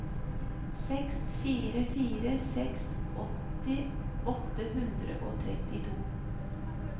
seks fire fire seks åtti åtte hundre og trettito